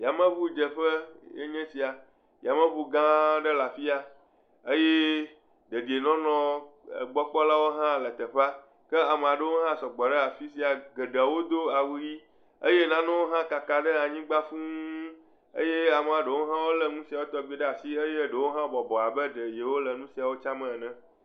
Yameŋudzeƒe enye sia, yameŋu gã aɖe le afia eye dedienɔnɔ gbɔ kpɔlawo hã le teƒea ke ame aɖewo hã sɔgbɔ ɖe afi sia geɖewo do awu ʋi eye nanewo hã kaka ɖe anyigba fũu eye amea ɖewo hã lé nu sia tɔgbi ɖe asi eye ɖewo hã bɔbɔ abe ɖe yewole nu siawo tsam ene.